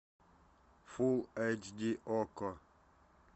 фулл эйч ди окко